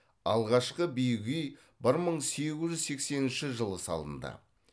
алғашқы биік үй бір мың сегіз жүз сексенінші жылы салынды